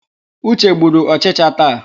Uche gburu ọchịcha taa.